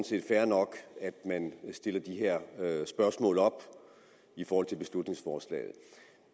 fair nok at man stiller de her spørgsmål op i forhold til beslutningsforslaget